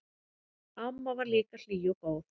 Amma var líka hlý og góð.